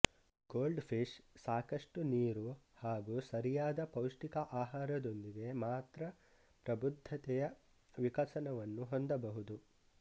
gold fish ಸಾಕಷ್ಟು ನೀರು ಹಾಗು ಸರಿಯಾದ ಪೌಷ್ಟಿಕ ಆಹಾರದೊಂದಿಗೆ ಮಾತ್ರ ಪ್ರಬುದ್ದತೆಯ ವಿಕಸನವನ್ನು ಹೊಂದಬಹುದು